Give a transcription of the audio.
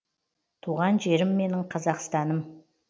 туған жерім менің қазақстаным